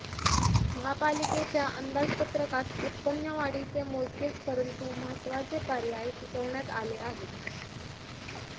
महापालिकेच्या अंदाजपत्रकात उत्पन्न वाढीचे मोजकेच परंतु महत्वाचे पर्याय सुचवण्यात आले आहेत